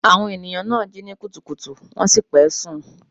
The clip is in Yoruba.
Àwọn ènìyàn náà jí ní kùtùkùtù wọ́n sì pẹ́ sùn.